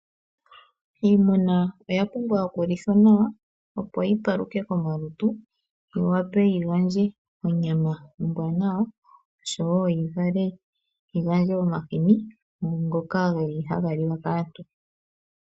Iimuna oya pumbwa okulithwa nawa opo yipaluke komalutu, yiwape yigandje onyama ombwanawa oshowo yigandje omahini ngoka geli haga liwa kaantu.